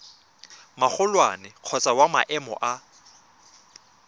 magolwane kgotsa wa maemo a